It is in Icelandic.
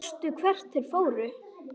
Sástu hvert þeir fóru?